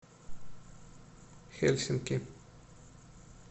хельсинки